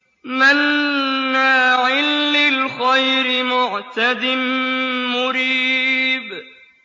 مَّنَّاعٍ لِّلْخَيْرِ مُعْتَدٍ مُّرِيبٍ